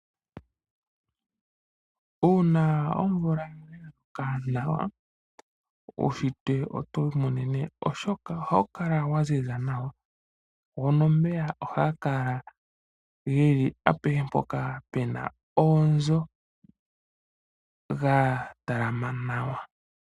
Uuna omvula ya loka nawa uuntshitwe otowu imonene oshoka ohawu kala wa ziza nawa go nomeya ohaga kala geli apehe mpoka pena oonzo ga talama nawa.